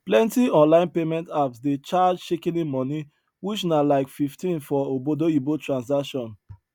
plenti online payment apps dey charge shikini money which na like 15 for obodoyibo transaction